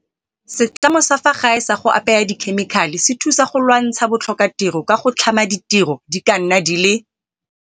setlamo sa fa gae sa go apaya dikhemikhale se thusa go lwantsha bo tlhokatiro ka go tlhama ditiro di ka nna di le